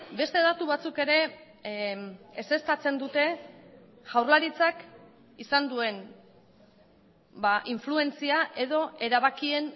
beste datu batzuk ere ezeztatzen dute jaurlaritzak izan duen influentzia edo erabakien